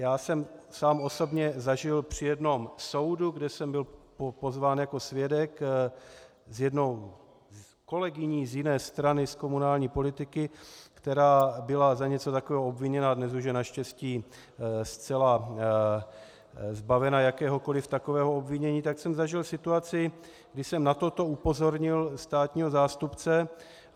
Já jsem sám osobně zažil při jednom soudu, kde jsem byl pozván jako svědek s jednou kolegyní z jiné strany z komunální politiky, která byla za něco takového obviněna a dnes už je naštěstí zcela zbavena jakéhokoliv takového obvinění, tak jsem zažil situaci, když jsem na toto upozornil státního zástupce.